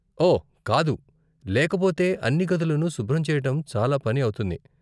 ఓ, కాదు, లేకపోతే అన్నీ గదులను శుభ్రం చెయ్యటం చాలా పని అవుతుంది.